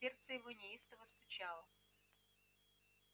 сердце его неистово стучало